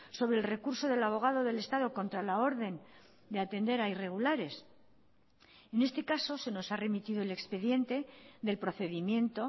sobre el recurso del abogado del estado contra la orden de atender a irregulares en este caso se nos ha remitido el expediente del procedimiento